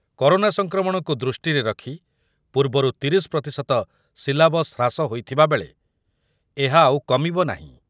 Corona ସଂକ୍ରମଣକୁ ଦୃଷ୍ଟିରେ ରଖି ପୂର୍ବରୁ ତିରିଶି ପ୍ରତିଶତ ସିଲାବସ୍ ହ୍ରାସ ହୋଇଥିବା ବେଳେ ଏହା ଆଉ କମିବ ନାହିଁ।